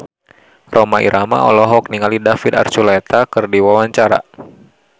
Rhoma Irama olohok ningali David Archuletta keur diwawancara